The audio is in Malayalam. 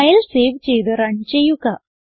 ഫയൽ സേവ് ചെയ്ത് റൺ ചെയ്യുക